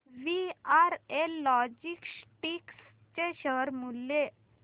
VRL logistics चे share मूल्य